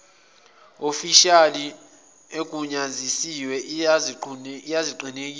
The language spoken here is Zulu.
ofishali egunyaziwe izakuqinisekisa